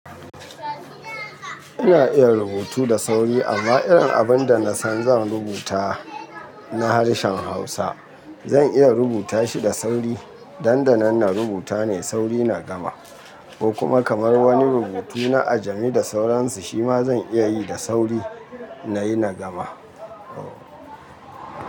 Ina iya rubutu da sauri amma irin abun da na san zan rubuta na harshen Hausa zan iya rubuta shi da sauri. Dan da nan na rubuta ne da sauri na gama ko kuma kamar wani rubutu na jami'a da sauransu shima zan iya yi da sauri nayi na gama.